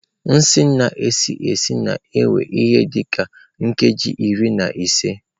Nsen na-esi esi na-ewe ihe dị ka nkeji iri na ise.